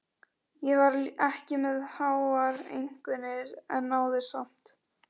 Ég var ekki með háar einkunnir en náði samt.